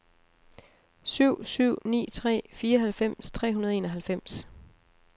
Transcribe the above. syv syv ni tre fireoghalvfems tre hundrede og enoghalvfems